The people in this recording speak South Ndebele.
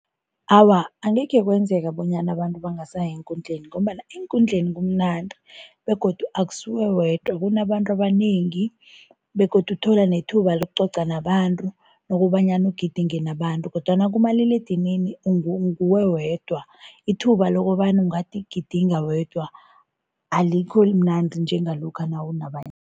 Awa, angekhe kwenzeka bonyana abantu bangasayi eenkundleni ngombana eenkundleni kumnandi begodu akusuwe wedwa, kunabantu abanengi begodu uthola nethuba lokucoca nabantu nokobanyana ugidinge nabantu kodwana kumaliledinini nguwe wedwa, ithuba lokobana ungathi gidinga wedwa alikho mnandi njengalokha nawunabanye.